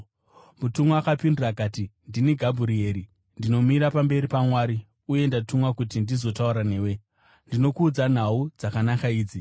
Mutumwa akapindura akati, “Ndini Gabhurieri. Ndinomira pamberi paMwari, uye ndatumwa kuti ndizotaura newe, ndizokuudza nhau dzakanaka idzi.